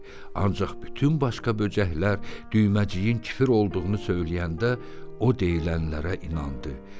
Ancaq bütün başqa böcəklər Düyməciyin kifir olduğunu söyləyəndə, o deyilənlərə inandı.